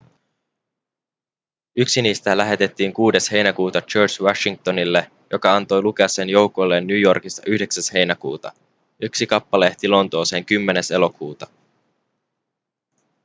yksi niistä lähetettiin 6 heinäkuuta george washingtonille joka antoi lukea sen joukoilleen new yorkissa 9 heinäkuuta yksi kappale ehti lontooseen 10 elokuuta